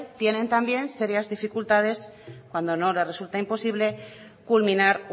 tienen también seria dificultades cuando no le resulta imposible culminar